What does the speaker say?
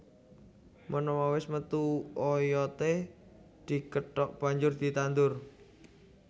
Menawa wis metu oyodé dikethok banjur ditandur